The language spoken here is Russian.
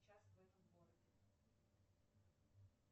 час в этом городе